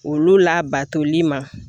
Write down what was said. Olu labatoli ma